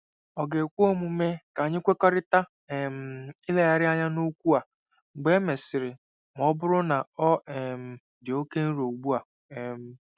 Ọ̀ ga-ekwe omume ka anyị kwekọrịta um ilegharị anya n'okwu a mgbe e mesịrị ma ọ bụrụ na ọ um dị oke nro ugbu a? um